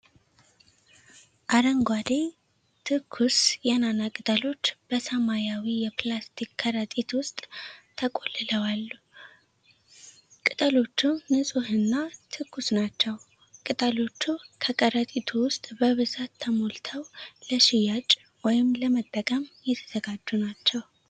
አረንጓዴ፣ ትኩስ የናና ቅጠሎች በሰማያዊ የፕላስቲክ ከረጢት ውስጥ ተቆልለዏልሉ። ቅጠሎቹ ንጹህና ትኩስ ናቸው። ቅጠሎቹ በከረጢቱ ውስጥ በብዛት ተሞልተው ለሽያጭ ወይም ለመጠቀም የተዘጋጁ ናቸው።